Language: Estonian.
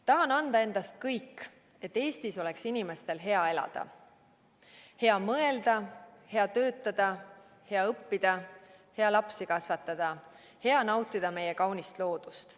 Tahan anda endast kõik, et Eestis oleks inimestel hea elada – hea mõelda, hea töötada, hea õppida, hea lapsi kasvatada, hea nautida meie kaunist loodust.